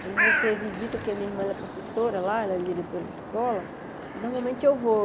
Quando você visita, porque minha irmã é professora lá, ela é diretora de escola, normalmente eu vou.